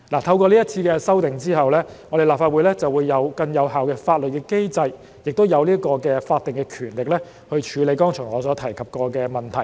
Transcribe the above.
透過這次修訂，立法會將具有更有效的法律機制及法定權力，處理我剛才所提及的問題。